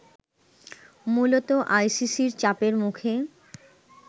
মূলত আইসিসির চাপের মুখে